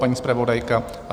Paní zpravodajka?